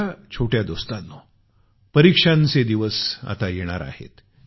माझ्या छोट्या दोस्तांनो परीक्षांचे दिवस आता येणार आहेत